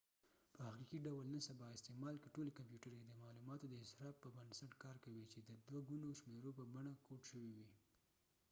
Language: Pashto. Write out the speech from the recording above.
په حقیقي ډول نن سبا استعمال کې ټولې کمپیوټرې د معلوماتو د اصراف په بنسټ کار کوي چې د دوه ګونو شمېرو په بڼه کوډ شوي وي